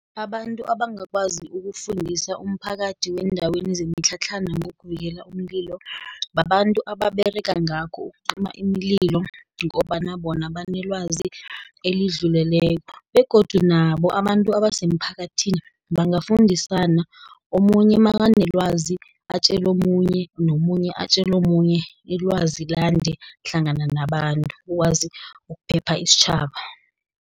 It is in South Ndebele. Abantu abangakwazi ukufundisa umphakathi weendaweni zemitlhatlhana ngokuvikela umlilo, babantu ababerega ngakho iimlilo, ngombana bona banelwazi elidluleleko, begodu nabo abantu asemphakathini bangafundisana. Omunye nakanelwazi atjele omunye, nomunye atjele omunye, ilwazi lande hlangana nabantu, ukwazi ukuphepha isitjhaba.